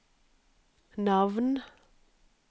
navn